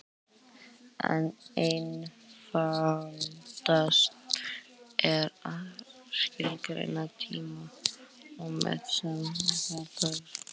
Einfaldast er að skilgreina tímarúmið sem safn allra hugsanlegra atburða.